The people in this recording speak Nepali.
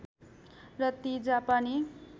र ती जापानी